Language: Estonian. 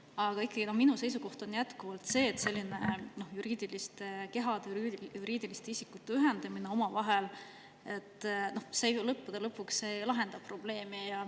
Aga ikkagi, minu seisukoht on jätkuvalt see, et selline juriidiliste kehade, juriidiliste isikute ühendamine omavahel ei lahenda lõppude lõpuks ju probleemi.